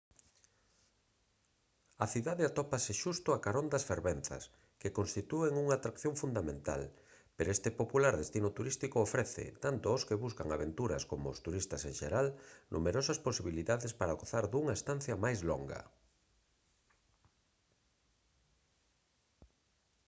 a cidade atópase xusto a carón das fervenzas que constitúen unha atracción fundamental pero este popular destino turístico ofrece tanto aos que buscan aventuras coma aos turistas en xeral numerosas posibilidades para gozar dunha estancia máis longa